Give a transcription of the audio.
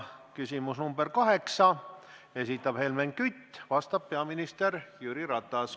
Küsimus nr 8, esitab Helmen Kütt, vastab peaminister Jüri Ratas.